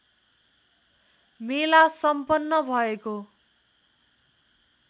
मेला सम्पन्न भएको